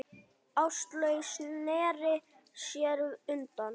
Áslaug sneri sér undan.